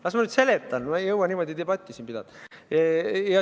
Las ma nüüd seletan, ma ei jõua siin niimoodi debatti pidada.